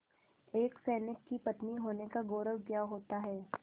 एक सैनिक की पत्नी होने का गौरव क्या होता है